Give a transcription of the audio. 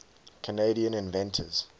canadian inventors